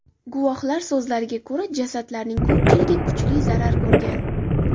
Guvohlar so‘zlariga ko‘ra, jasadlarning ko‘pchiligi kuchli zarar ko‘rgan.